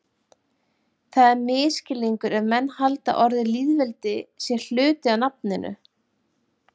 Það er misskilningur ef menn halda að orðið lýðveldi sé hluti af nafninu.